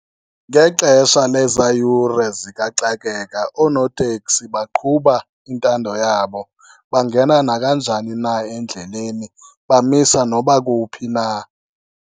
Ngexesha lezaa yure zikaxakeka oonoteksi baqhuba intando yabo. Bangena nakanjani na endleleni bamisa noba kuphi na.